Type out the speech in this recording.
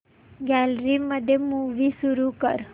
gallery मध्ये movie सुरू कर